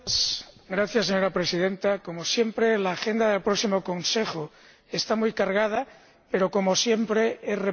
Señora Presidenta, como siempre, el orden del día del próximo Consejo está muy cargado, pero, como siempre, es repetitivo.